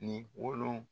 Ni wolon